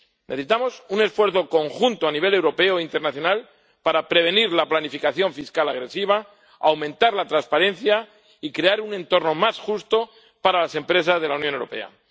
Necesitamos un esfuerzo conjunto, a nivel europeo e internacional, para prevenir la planificación fiscal agresiva, aumentar la transparencia y crear un entorno más justo para las empresas de la Unión Europea.